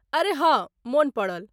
अरे हाँ । मोन पड़ल।